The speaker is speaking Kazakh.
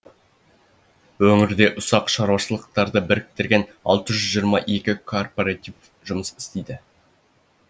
өңірде ұсақ шаруашылықтарды біріктірген алты жүз жиырма екі кооператив жұмыс істейді